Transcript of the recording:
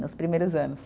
Nos primeiros anos.